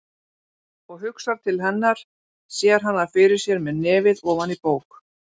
Og hugsar til hennar, sér hana fyrir sér með nefið ofan í bók.